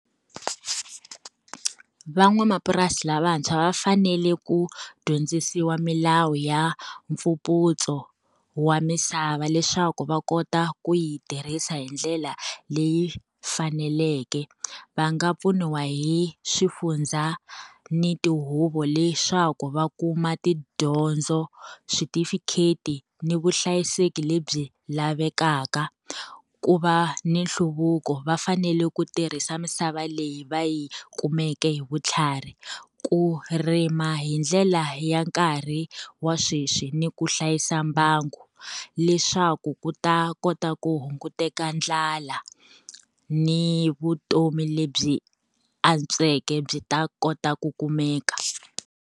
Van'wamapurasi lavantshwa va fanele ku dyondzisiwa milawu ya mfumputso wa misava leswaku va kota ku yi tirhisa hi ndlela leyi faneleke. Va nga pfuniwa hi swifundza ni tihuvo leswaku va kuma tidyondzo, switifikheti ni vuhlayiseki lebyi lavekaka. Ku va ni nhluvuko, va fanele ku tirhisa misava leyi va yi kumeke hi vutlhari, ku rima hi ndlela ya nkarhi wa sweswi, ni ku hlayisa mbangu. Leswaku ku ta kota ku hunguteka ndlala, ni vutomi lebyi antsweke byi ta kota ku kumeka.